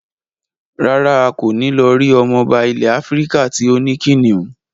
Rárá, a kò ní lọ rí ọmọba ilẹ̀ Áfíríkà tí ó ní kìnnìún.